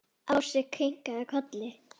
Ási kinkaði kolli.